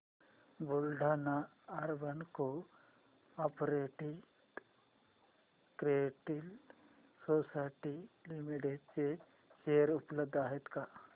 Buldhana urban cooperative credit society limited चे share उपलब्ध आहेत का